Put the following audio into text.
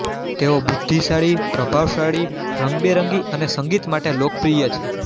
તેઓ બુધ્ધિશાળી પ્રભાવશાળી રંગબેરંગી અને સંગીત માટે લોકપ્રિય છે